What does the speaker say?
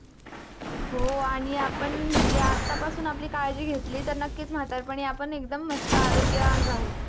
हो, आणि आपण म्हणजे आत्तापासून आपली काळजी घेतली तर, नक्कीच म्हातारपणी आपण एकदम मस्त आरोग्यवान राहू.